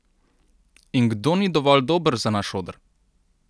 In kdo ni dovolj dober za naš oder?